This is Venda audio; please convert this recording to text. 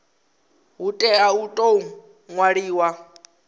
hu tea u tou ṅwaliwa